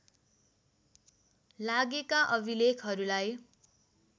लागेका अभिलेखहरूलाई